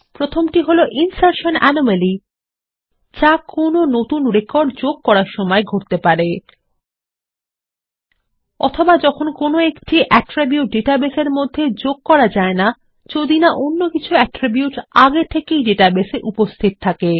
প্রথমটি হলো insertion anomaly যা কোনো নতুন রেকর্ড যোগ করার সময় ঘটতে পারে অথবা যখন কোনো একটি অ্যাট্রিবিউট ডাটাবেসের মধ্যে যোগ করা যায় না যদি না অন্য কিছু অ্যাট্রিকিউট আগে থেকে ডেটাবেস এ উপস্থিত থাকে